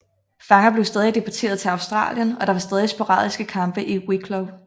Fanger blev stadig deporteret til Australien og der var stadig sporadiske kampe i Wicklow